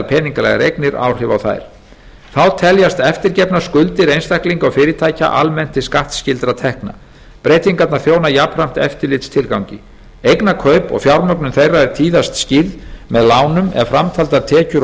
peningalegar eignir áhrif á þær þá teljast eftirgefnar skuldir einstaklinga og fyrirtækja almennt til skattskyldra tekna breytingarnar þjóna jafnframt eftirlitstilgangi eignakaup og fjármögnun þeirra er tíðast skýrð með lánum ef framtaldar tekjur og